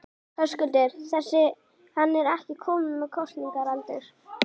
Höskuldur: Þessi, hann er ekki kominn með kosningaaldur?